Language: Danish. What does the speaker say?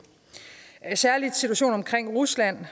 særlig situationen i rusland